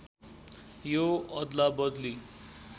यो अदलाबदली